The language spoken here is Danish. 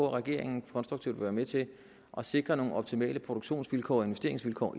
at regeringen konstruktivt være med til at sikre nogle optimale produktionsvilkår og investeringsvilkår